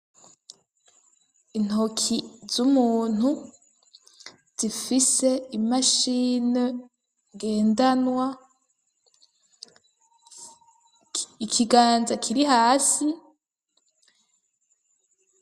Intoki z'umuntu zifise imashini ngendanwa ikiganza kiri hasi.